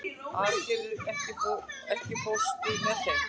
Auðgeir, ekki fórstu með þeim?